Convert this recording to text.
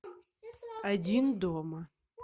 один дома